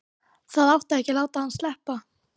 Það átti ekki að láta hann sleppa!